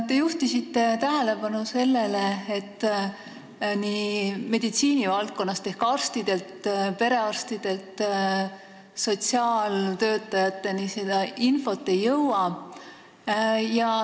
Te juhtisite tähelepanu sellele, et info meditsiinivaldkonnast ehk arstide ja perearstide käest sotsiaaltöötajate kätte ei jõua.